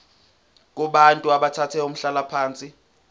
kubantu abathathe umhlalaphansi